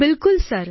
બિલકુલ સર